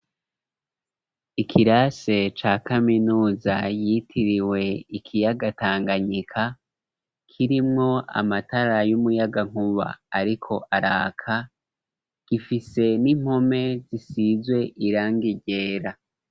ikirase ca kaminuza yitiriwe ikiyaga Tanganyika, kirimwo amatara y'umuyagankuba ariko araka, gifise n'impome zisizwe irangi ryera.